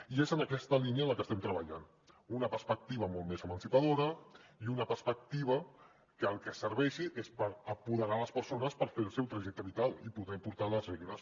i és en aquesta línia en la que estem treballant amb una perspectiva molt més emancipadora i una perspectiva que per al que serveix és per apoderar les persones a fer el seu trajecte vital i poder portar ne les regnes